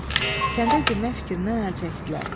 Kəndə girmək fikrindən əl çəkdilər.